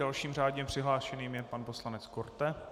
Dalším řádně přihlášeným je pan poslanec Korte.